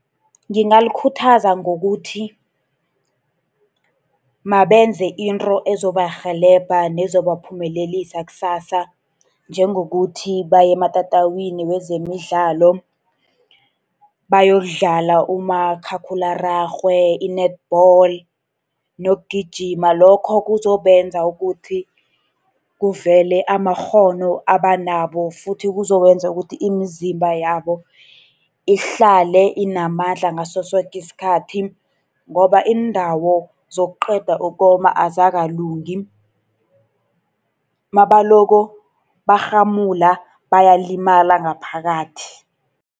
Ngingalikhuthaza ngokuthi mabenze into ezobarhelebha, nezobaphumelelisa kusasa. Njengokuthi baye ematatawini wezemidlalo, bayokudlala umakhakhulararhwe, i-netball nokugijima. Lokho kuzobenza ukuthi kuvele amakghono abanawo, futhi kuzokwenza ukuthi imizimba yabo ihlale inamandla ngaso soke isikhathi. Ngoba iindawo zokuqeda ukoma azikalungi. Nabalokhu barhamula, bayalimala ngaphakathi.